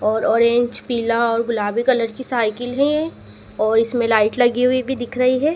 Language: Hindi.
और ऑरेंज पीला और गुलाबी कलर की साइकिल है और इसमें लाइट लगी हुई भी दिख रही है।